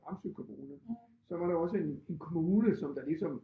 Ramsø kommune så var der også en en kommune som der ligesom